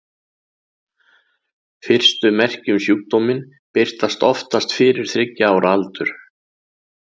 Fyrstu merki um sjúkdóminn birtast oftast fyrir þriggja ára aldur.